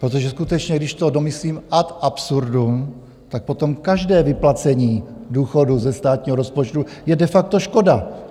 Protože skutečně když to domyslím ad absurdum, tak potom každé vyplacení důchodu ze státního rozpočtu je de facto škoda.